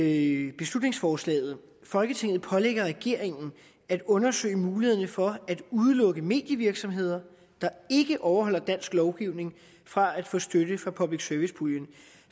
i beslutningsforslaget folketinget pålægger regeringen at undersøge mulighederne for at udelukke medievirksomheder der ikke overholder dansk lovgivning fra at få støtte fra public service puljen